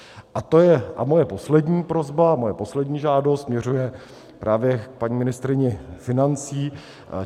A moje poslední prosba, moje poslední žádost, směřuje právě k paní ministryni financí.